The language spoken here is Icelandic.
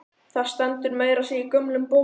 Það stendur meira að segja í gömlum bókum.